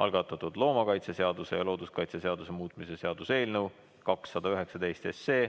algatatud loomakaitseseaduse ja looduskaitseseaduse muutmise seaduse eelnõu 219.